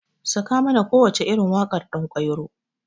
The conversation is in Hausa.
Sakamana kowacce irin waƙar ɗankwairo.